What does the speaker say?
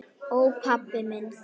Ó, pabbi minn.